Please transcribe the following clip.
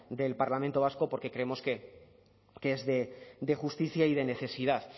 del parlamento vasco porque creemos que es de justicia y de necesidad